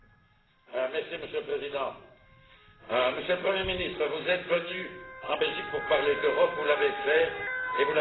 Monsieur le Président, Monsieur le Premier ministre, vous êtes venu chez nous pour parler d'Europe, vous l'avez fait et vous l'avez bien fait.